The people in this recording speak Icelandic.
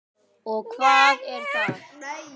Og hvað er það?